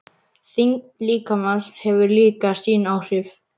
Þyngd líkamans hefur líka sín áhrif.